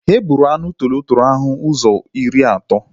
E gburi m anụ tọrọ tọrọ ahụ ụzọ iri ato